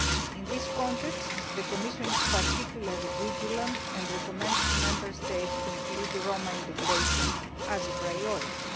In this context, the Commission is particularly vigilant and recommends that Member States include Roma integration as a priority.